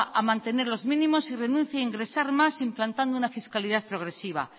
a mantener los mínimos si renuncia a ingresar más implantando una fiscalidad progresiva